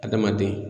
Adamaden